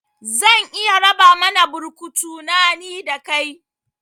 Zan iya raba mana burkutu na, ni da kai